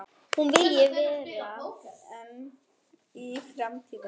Hún vilji vera ein í framtíðinni.